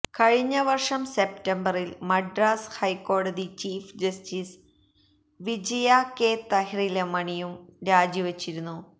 കഴിഞ്ഞ വര്ഷം സെപ്തംബറില് മദ്രാസ് ഹൈക്കോടതി ചീഫ് ജസ്റ്റിസ് വിജയ കെ തഹില്രമണിയും രാജിവച്ചിരുന്നു